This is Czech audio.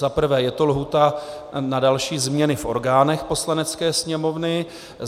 Za prvé je to lhůta na další změny v orgánech Poslanecké sněmovny.